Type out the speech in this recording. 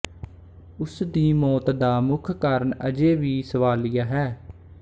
ਉਸ ਦੀ ਮੌਤ ਦਾ ਮੁੱਖ ਕਾਰਨ ਅਜੇ ਵੀ ਸਵਾਲੀਆ ਹੈ